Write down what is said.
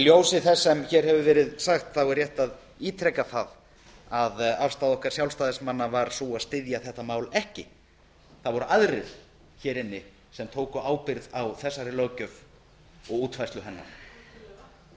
í ljósi þess sem hér hefur verið sagt er rétt að ítreka það að afstaða okkar sjálfstæðismanna var sú að styðja þetta mál ekki það voru aðrir hér inni sem tóku ábyrgð á þessari löggjöf og útfærslu hennar það